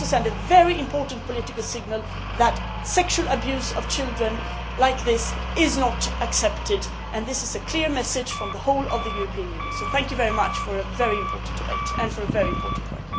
We are also sending the very important political signal that sexual abuse of children like this is not acceptable, and this is a clear message from the whole of the European Union. Thank you very much for a very important debate and very important work.